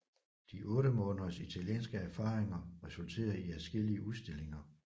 De 8 måneders italienske erfaringer resulterede i adskillige udstillinger